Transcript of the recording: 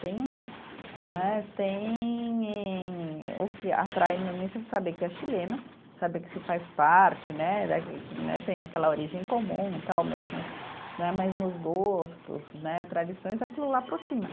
Tem um né, tem, o que atrai no início é saber que é chileno, saber que se faz parte né, da que né, tem aquela origem comum tal mesmas, né, mesmos gostos né, tradições, aquilo lá aproxima.